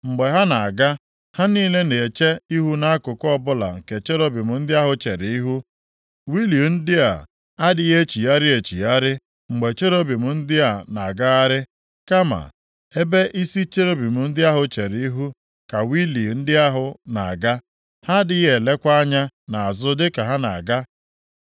Mgbe ha na-aga, ha niile na-eche ihu nʼakụkụ ọbụla nke cherubim ndị ahụ chere ihu. Wịịlu ndị a adịghị echigharị echigharị mgbe cherubim ndị a na-agagharị. Kama ebe isi cherubim ndị ahụ chere ihu ka wịịlu ndị ahụ na-aga. Ha adịghị elekwa + 10:11 Maọbụ, aghakwa anya nʼazụ dịka ha na-aga.